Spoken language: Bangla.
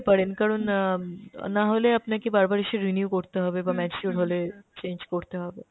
পারেন কারণ অ্যাঁ না হলে আপনাকে বার বার এসে renew করতে হবে বা mature হলে change করতে হবে।